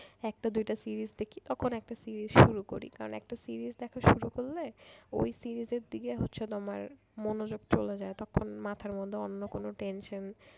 একটা দুইটা series দেখি তখন একটা series শুরু করি কারণ একটা series দেখা শুরু করলে ওই series এর দিকে হচ্ছে তোমার মনোযোগ চলে যায় তখন মাথার মধ্যে অন্য কোন tension